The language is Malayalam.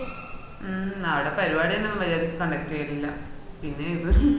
മ്മ് അവട പരിപാടി തന്നെ മര്യാദക്ക്‌ conduct ചെയ്യലില്ല പിന്നാ ഇത് ഹും